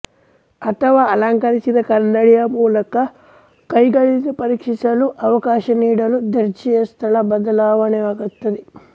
ಅಥವಾ ಅಲಂಕರಿಸಿದ ಕನ್ನಡಿಯ ಮೂಲಕ ಕೈಗಳಿಂದ ಪರೀಕ್ಷಿಸಲು ಅವಕಾಶ ನೀಡಲು ದರ್ಜೆಯ ಸ್ಥಳ ಬದಲಾವಣೆಯಾಗುತ್ತದೆ